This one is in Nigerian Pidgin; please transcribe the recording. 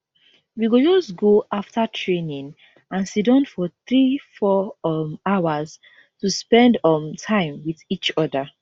we go just go afta training and siddon for three four um hours to spend um time wit each oda